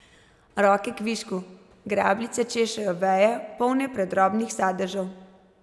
Roke kvišku, grabljice češejo veje, polne predrobnih sadežev.